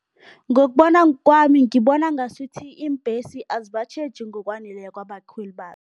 Ngokubona kwami ngibona ngasuthi iimbhesi azibatjheji ngokwaneleko abakhweli